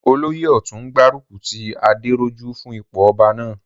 Olóyè ọ̀tún n gbárùkù ti Adérójú fún ipò ọba náà